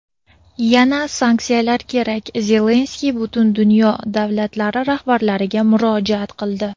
yana sanksiyalar kerak – Zelenskiy butun dunyo davlatlari rahbarlariga murojaat qildi.